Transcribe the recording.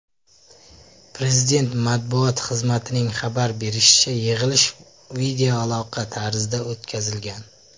Prezident matbuot xizmatining xabar berishicha , yig‘ilish videoaloqa tarzida o‘tkazilgan.